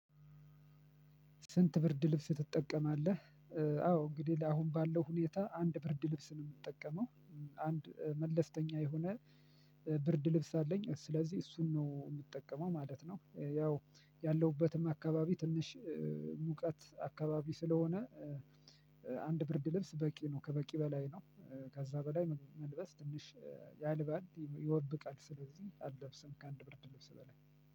ስንት ብርድ ልብስ ትጠቀማለህ? አዎ እንግዲህ ለአሁን ባለው ሁኔታ አንድ ብርድ ልብስ ምጠቀመው። አንድ መለስተኛ የሆነ ብርድ ልብስ አለኝ ስለዚህ እሱን ነው ምጠቀመው ማለት ነው። ያው ያለሁበትም አካባቢ ትንሽ ሙቀት አካባቢ ስለሆነ። አንድ ብርድ ልብስ በቂ ነው ከበቂ በላይ ነው። ከዛ በላይ መልበስ ትንሽ ያልባል ይወብቃል። ስለዚህ አለብስም ከአንድ ብርድልብስ በላይ